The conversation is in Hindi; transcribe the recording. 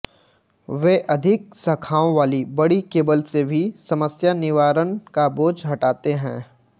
वे अधिक शाखाओं वाली बड़ी केबल से भी समस्या निवारण का बोझ हटाते हैं